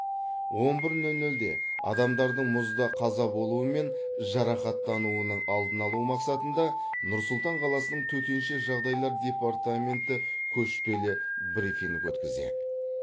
он бір нөл нөлде адамдардың мұзда қаза болуы мен жарақаттануының алдын алу мақсатында нұр сұлтан қаласының төтенше жағдайлар департаменті көшпелі брифинг өткізеді